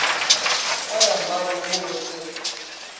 ka ya maboomo go se